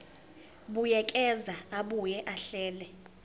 buyekeza abuye ahlele